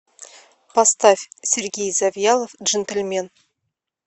поставь сергей завьялов джентльмен